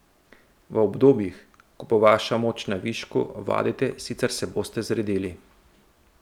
V obdobjih, ko bo vaša moč na višku, vadite, sicer se boste zredili.